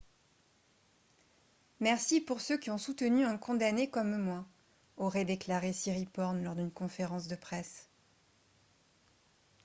« merci pour ceux qui ont soutenu un condamné comme moi » aurait déclaré siriporn lors d'une conférence de presse